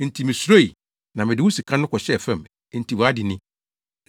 enti misuroi, na mede wo sika no kɔhyɛɛ fam, enti wʼade ni!’